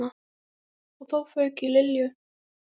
Og þá fauk í Lilju.